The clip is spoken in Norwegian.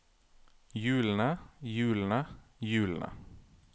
hjulene hjulene hjulene